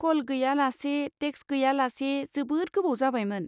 Call गैया लासे, text गैया लासे जोबोद गोबाव जाबायमोन।